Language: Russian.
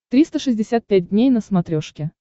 триста шестьдесят пять дней на смотрешке